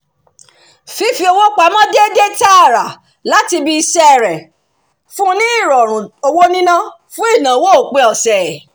fífi owó pamọ́ déédé tààrà láti ibi iṣẹ́ rẹ̀ fún un ní ìrọ̀rùn owó níná fún ìnáwó òpin ọ̀sẹ̀